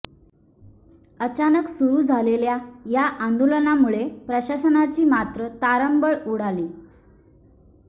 अचानक सुरु झालेल्या या आंदोलनामुळे प्रशासनाची मात्र तारांबळ उडाली